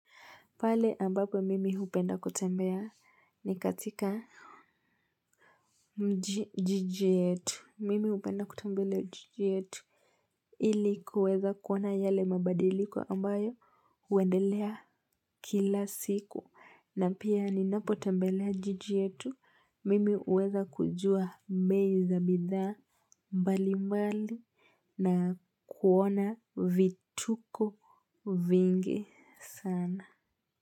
Pale ambapo mimi hupenda kutembea ni katika mji jiji yetu. Mimi hupenda kutembelea jiji yetu ili kuweza kuona yale mabadiliko ambayo huendelea kila siku. Na pia ninapo tembelea jiji yetu mimi huweza kujua bei za bidhaa mbali mbali na kuona vituko vingi sana.